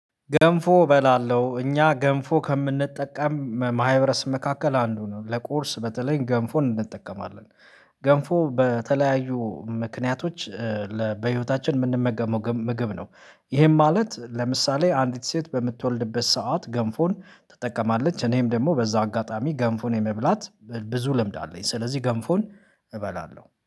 ገንፎ እበላለሁ እኛ ገንፎ ከምንጠቀም ማህበረስብ መካከል አንዱ ነው ለቁርስ በተለይ ገንፎ እንጠቀማለን። ገንፎ በተለያዩ ምክንያቶች በህይወታችን የምንመገበው ምግብ ነው። ይሄም ማለት ለምሳሌ አንዲት ሴት በምትወልድበት ሰዓት ገንፎን ተጠቀማለች እኔም ደግሞ በዛ አጋጣሚ ገንፎን የመብላት ብዙ ልምድ አለኝ። ስለዚህ ገንፎን እበላለሁ